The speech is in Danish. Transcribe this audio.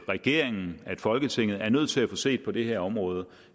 regeringen og folketinget er nødt til at få set på det her område